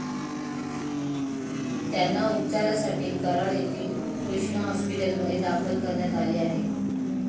त्यांना उपचारासाठी कराड येथील कृष्णा हॉस्पिटलमध्ये दाखल करण्यात आले आहे.